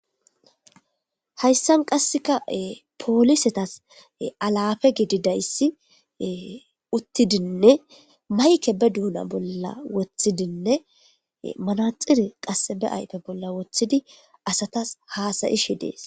Hayssan qasseka poolisetas alafe gididayssi uttidinne mayke be duuna bolla woththidinne manaxire qass be ayfe bolla woththidi asatas haasayishi dees.